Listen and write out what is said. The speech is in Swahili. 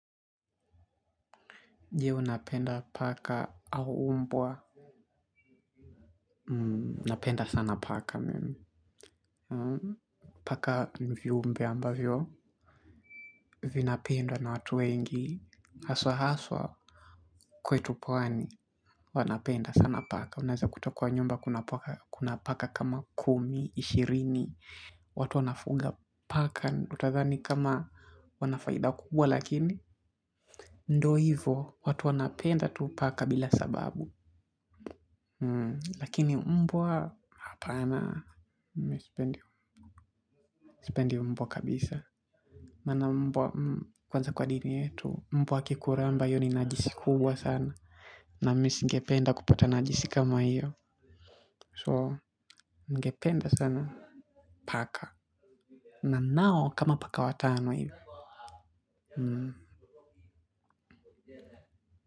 Je unapenda paka au umbwa napenda sana paka mimi. Paka ni viumbe ambavyo vinapendwa na watu wengi. Haswa haswa kwetu pwani wanapenda sana paka. Unaweza kutoka nyumba kuna paka kama kumi, ishirini. Watu wanafuga paka utadhani kama wanafaida kukubwa lakini ndo hivo, watu wanapenda tu paka bila sababu lakini mbwa hapana misipendi mbwa kabisa. Maana mbwa kwanza kwa dini yetu, mbwa akikuramba iyo ni najisi kubwa sana. Na mi singependa kupata najisi kama hiyo So, ningependa sana. Paka na nao kama paka watano hiyo Hmm.